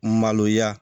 Maloya